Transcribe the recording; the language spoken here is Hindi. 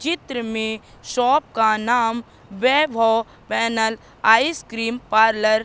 चित्र में शॉप का नाम वैभव पैनल आइसक्रीम पार्लर --